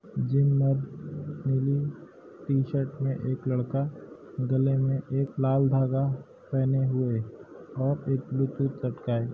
मे नीली T-shirt में एक लड़का गले मे एक लाल धागा पहेने हुए और एक ब्लूटूथ लटकाए --